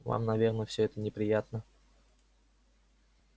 вам наверное всё это неприятно